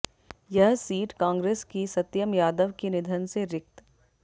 यह सीट कांग्रेस की सत्यम यादव के निधन से रिक्त